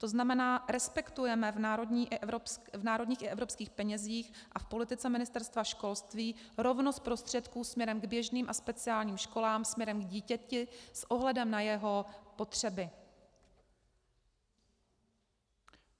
To znamená, respektujeme v národních i evropských penězích a v politice Ministerstva školství rovnost prostředků směrem k běžným a speciálním školám, směrem k dítěti, s ohledem na jeho potřeby.